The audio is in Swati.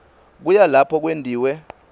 kuya lapho kwentiwe